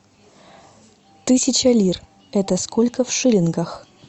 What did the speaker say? тысяча лир это сколько в шиллингах